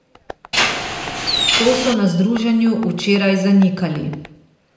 To so na združenju včeraj zanikali.